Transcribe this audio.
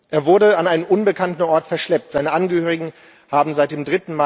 Er wurde an einen unbekannten Ort verschleppt, seine Angehörigen haben seit dem